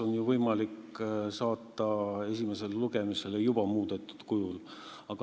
On ju võimalik saata eelnõu esimesele lugemisele juba muudetud kujul.